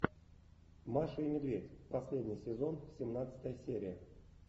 маша и медведь последний сезон семнадцатая серия